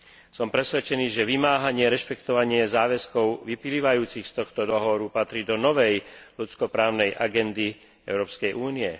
Som presvedčený, že vymáhanie rešpektovania záväzkov vyplývajúcich z tohto dohovoru patrí do novej ľudsko právnej agendy Európskej únie.